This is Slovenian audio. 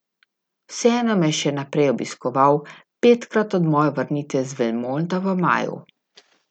Vseeno me je še naprej obiskoval, petkrat od moje vrnitve iz Belmonta v maju.